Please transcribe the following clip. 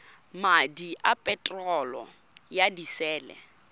madi a peterolo ya disele